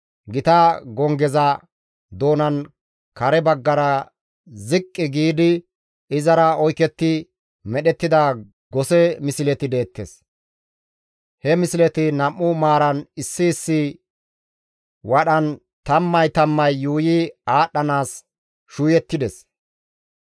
Gita gonggeza doonan kare baggara ziqqi giidi izara oyketti medhettida gose misleti deettes; he misleti nam7u maaran issi issi wadhan tammay tammay yuuyi aadhdhanaas shuuyettides.